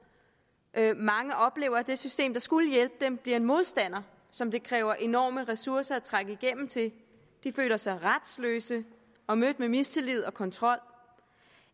mange oplever at det system der skulle hjælpe dem bliver en modstander som det kræver enorme ressourcer at trænge igennem til de føler sig retsløse og mødt med mistillid og kontrol